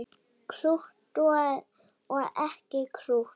Krútt og ekki krútt.